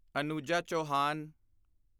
Anuja Chauhan